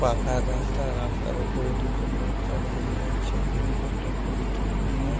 পাকার রাস্তা। রাস্তার উপরে দুজন বাচ্চা দাঁড়িয়ে আছে। হলুদ একটা পলিথিন নিয়ে।